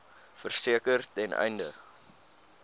verseker ten einde